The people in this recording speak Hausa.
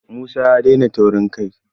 Musa ya daina taurin kai.